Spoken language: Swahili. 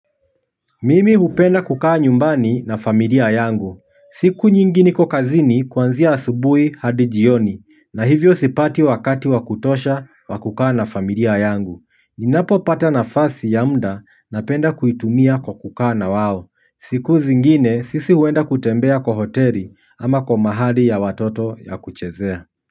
Mimi hupenda kukaa nyumbani na familia yangu. Siku nyingi niko kazini kuanzia asubuhi hadi jioni na hivyo sipati wakati wa kutosha wa kukaa na familia yangu. Ninapopata nafasi ya muda napenda kuitumia kwa kukaa na wao. Siku zingine sisi huenda kutembea kwa hoteli ama kwa mahali ya watoto ya kuchezea.